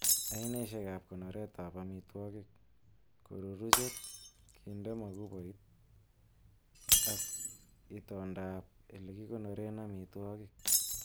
Ainaisiek ab konoretab amitwogik:Koruruchet, kinde mokuboik, ak itondab ele kikonoren amitwogik.